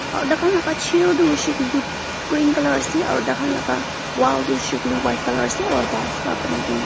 aru tai khan laga chair toh hoishey koi le toh green colour ase aru tai khan la wall toh hoishey koi le white colour ase aru tiles para banai kene ase.